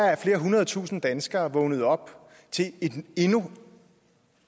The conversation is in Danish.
er at flere hundrede tusinde danskere er vågnet op til endnu